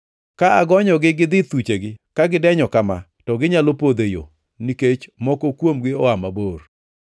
Ka agonyogi gidhi thuchegi ka gidenyo kama to ginyalo podho e yo, nikech moko kuomgi oa mabor.”